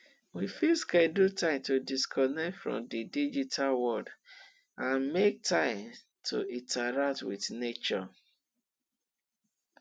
we fit schedule time to disconnect from di digital world and make time to interact with nature